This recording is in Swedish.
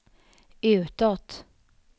utåt